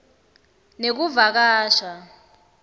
nekuvakasha